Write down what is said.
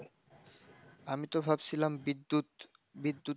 আমি তো ভাবছিলাম বিদ্যুৎ, বিদ্যুৎ,